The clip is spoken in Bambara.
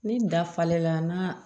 Ni da falenna n'a